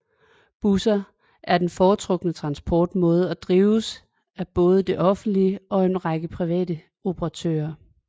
Busser er den fortrukne transportmåde og drives af både det offentlige og en række private operatører